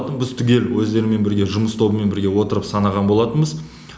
біз түгел өздерімен бірге жұмыс тобымен бірге отырып санаған болатынбыз